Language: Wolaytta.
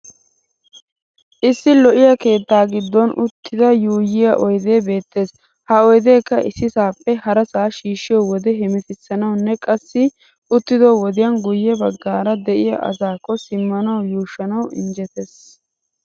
Issi lo'iyaa keettaa giddon uttiyoode yuuyyiya oydee beettes. Ha oydeekka issisaappe harasaa shiishshiyo wode hemetissanawunne qassi uttido wodiyan guyye baggaara de'iya asaakko simmanawu yuushshanawu injjetes.